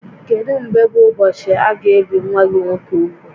Kedu mgbe bụ ụbọchị aga ebi nwa gị nwoke úgwù?